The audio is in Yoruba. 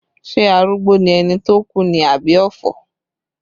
Ṣé arúgbó ni ẹni tó kú ni àbí ọ̀fọ̀?